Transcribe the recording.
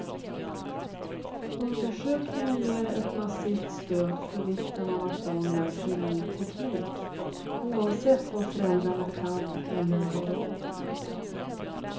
Undersökningen ger ett massivt stöd för vikten av att barn lär sig ny teknik, oavsett vad föräldrarna kan eller har råd med.